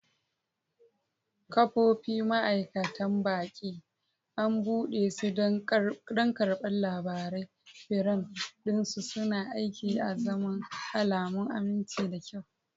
Ƙofofi, ma'aikatan baƙi, an buɗe su don karɓar labarai, firam ɗin su suna aiki azaman alamun aminci da kyau.